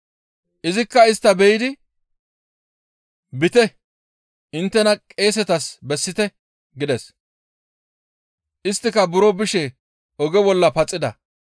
Izikka istta be7idi, «Biite! Inttena qeesetas bessite» gides; isttika buro bishe oge bolla paxida.